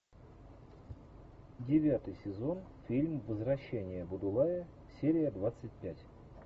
девятый сезон фильм возвращение будулая серия двадцать пять